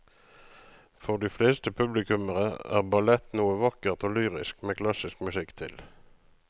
For de fleste publikummere er ballett noe vakkert og lyrisk med klassisk musikk til.